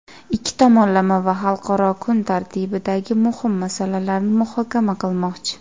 ikki tomonlama va xalqaro kun tartibidagi muhim masalalarni muhokama qilmoqchi.